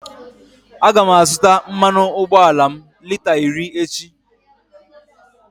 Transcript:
A ga m azụta mmanụ ụgbọala m lita iri echi.